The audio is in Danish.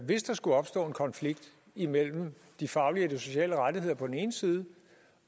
hvis der skulle opstå en konflikt imellem de faglige og sociale rettigheder på den ene side